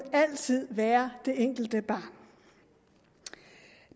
altid være det enkelte barn